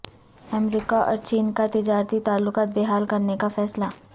امریکہ اور چین کا تجارتی تعلقات بحال کرنے کا فیصلہ